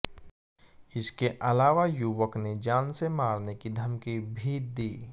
इसके अलावा युवक ने जान से मारने की धमकी भी दी